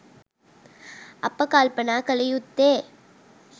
අප කල්පනා කළ යුත්තේ